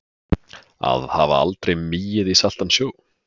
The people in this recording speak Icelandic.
Að hafa aldrei migið í saltan sjó